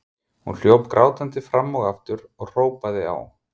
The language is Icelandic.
Hún hljóp grátandi fram og aftur og hrópaði á